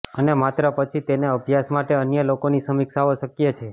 અને માત્ર પછી તેને અભ્યાસ માટે અન્ય લોકોની સમીક્ષાઓ શક્ય છે